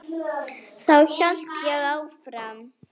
Þá held ég áfram.